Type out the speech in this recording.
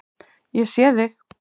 Ég sé þig.